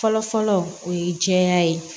Fɔlɔ fɔlɔ o ye jɛya ye